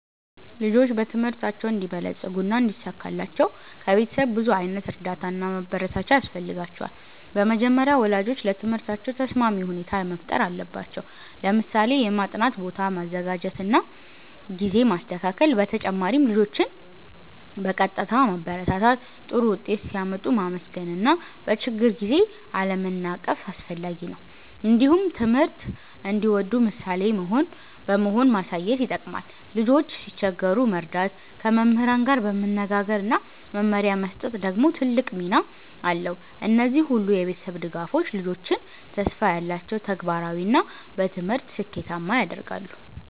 ልጆች በትምህርታቸው እንዲበለጽጉና እንዲሳካላቸው ከቤተሰብ ብዙ ዓይነት እርዳታ እና ማበረታቻ ያስፈልጋቸዋል። በመጀመሪያ ወላጆች ለትምህርታቸው ተስማሚ ሁኔታ መፍጠር አለባቸው፣ ለምሳሌ የማጥናት ቦታ ማዘጋጀት እና ጊዜ ማስተካከል። በተጨማሪም ልጆችን በቀጥታ ማበረታታት፣ ጥሩ ውጤት ሲያመጡ ማመስገን እና በችግር ጊዜ አለመናቀፍ አስፈላጊ ነው። እንዲሁም ትምህርት እንዲወዱ ምሳሌ በመሆን ማሳየት ይጠቅማል። ልጆች ሲቸገሩ መርዳት፣ ከመምህራን ጋር መነጋገር እና መመሪያ መስጠት ደግሞ ትልቅ ሚና አለው። እነዚህ ሁሉ የቤተሰብ ድጋፎች ልጆችን ተስፋ ያላቸው፣ ተግባራዊ እና በትምህርት ስኬታማ ያደርጋሉ።